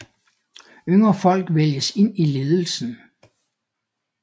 Yngre folk vælges ind i ledelsen